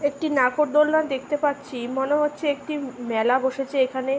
একটি নাকরদোলনা দেখতে পাচ্ছি মনে হচ্ছে একটি উ মেলা বসেছে এখানে-